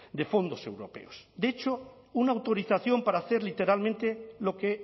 de fondos europeos de hecho una autorización para hacer literalmente lo que